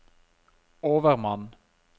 overmann